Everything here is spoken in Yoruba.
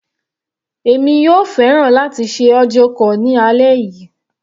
Èmi yóò fẹ́ràn láti ṣe audio call ní alẹ́ yìí.